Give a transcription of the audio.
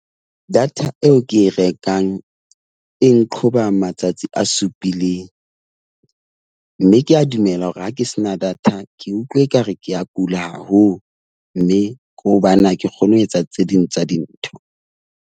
Data eo ke e rekang e nqhoba matsatsi a supileng. Mme ke a dumela hore ha ke sena data ke utlwa ekare ke a kula haholo. Mme ke hobane ha ke kgone ho etsa tse ding tsa dintho.